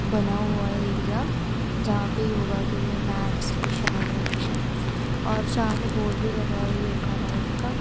बना हुआ एरिया जहां पे योगा के लिए मैट्स बिछाए हुए हैं और सामने बोर्ड भी लगा है योगा लाइफ का--